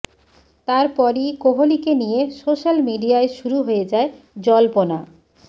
তারপরই কোহলিকে নিয়ে সোশ্যাল মিডিয়ায় শুরু হয়ে যায় জল্পনা